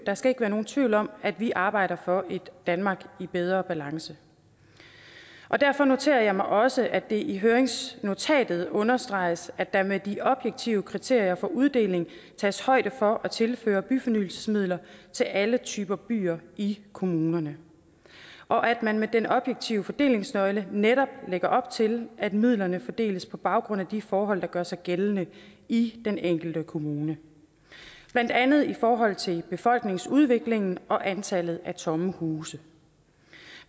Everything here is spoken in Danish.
der skal ikke være nogen tvivl om at vi arbejder for et danmark i bedre balance derfor noterer jeg mig også at det i høringsnotatet understreges at der med de objektive kriterier for uddeling tages højde for at tilføre byfornyelsesmidler til alle typer byer i kommunerne og at man med den objektive fordelingsnøgle netop lægger op til at midlerne fordeles på baggrund af de forhold der gør sig gældende i den enkelte kommune blandt andet i forhold til befolkningsudviklingen og antallet af tomme huse